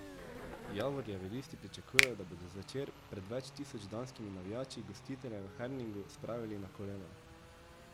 Javorjevi listi pričakujejo, da bodo zvečer pred več tisoč danskimi navijači gostitelje v Herningu spravili na kolena.